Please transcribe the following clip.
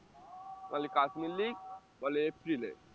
Kashmir league বলে এপ্রিলে